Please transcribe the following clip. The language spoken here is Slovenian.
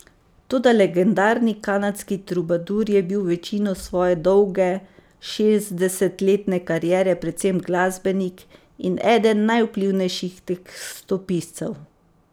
Toda legendarni kanadski trubadur je bil večino svoje dolge, šestdesetletne kariere predvsem glasbenik in eden najvplivnejših tekstopiscev.